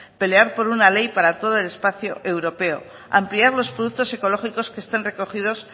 pelear por una ley para todo el espacio europeo ampliar los productos ecológicos que están recogidos